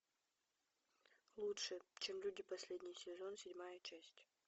лучше чем люди последний сезон седьмая часть